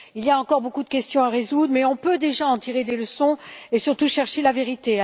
Il y a encore beaucoup de questions à résoudre, mais on peut déjà en tirer des leçons et surtout chercher la vérité.